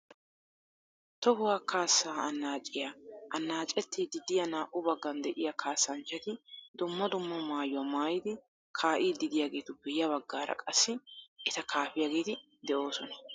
Tohuwa kaasaa anaaciya anaacettiiddi diya naa"u baggan de'iya kaasanchchati dumma dumma maayuwa maayidi kaa'iiddi diyageetuppe ya baggaara qassi eta kaafiyageeti de'oosona.